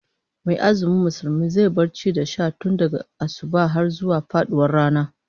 Mai azumi Musulmi zai bar ci da sha tun daga asubah har zuwa faduwar rana